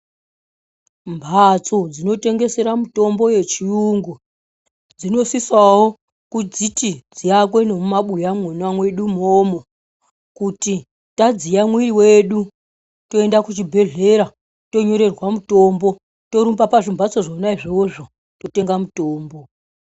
Mhatso dzinotengesera mitombo yechiyungu dzinosisawo kudziti dziakwe nemumabuya mwona mwedu umomo kuti tadziya mwiri wedu toenda kuchibhedhlera tonyorerwa mutombo torumba pazvimhatso zvona izvozvo totenga mutombo.